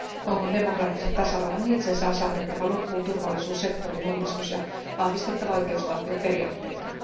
Kongon demokraattisen tasavallan itsensä on saatettava loppuun turvallisuussektorin uudistus ja vahvistettava oikeusvaltioperiaatteitaan.